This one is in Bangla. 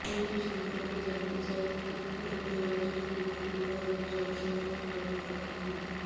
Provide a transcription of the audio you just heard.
বিষয়টি সম্পর্কে জানতে চাইলে তথ্য ও যোগাযোগ প্রযুক্তি বিভাগের জনসংযোগ কর্মকর্তা মো